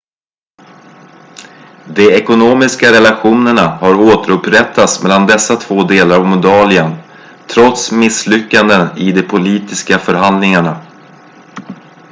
de ekonomiska relationerna har återupprättats mellan dessa två delar av moldavien trots misslyckanden i de politiska förhandlingarna